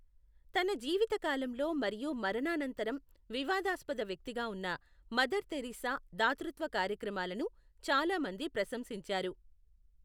తన జీవితకాలంలో మరియు మరణానంతరం వివాదాస్పద వ్యక్తిగా ఉన్న మదర్ థెరిస్సా దాతృత్వ కార్యక్రమాలను చాలా మంది ప్రశంసించారు.